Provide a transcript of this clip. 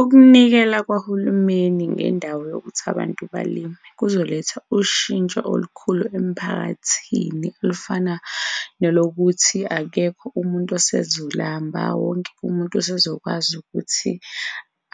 Ukunikela kwahulumeni ngendawo yokuthi abantu balime kuzoletha ushintsho olukhulu emphakathini olufana nolokuthi, akekho umuntu osezolamba. Wonke umuntu usezokwazi ukuthi